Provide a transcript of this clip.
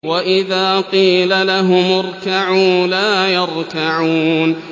وَإِذَا قِيلَ لَهُمُ ارْكَعُوا لَا يَرْكَعُونَ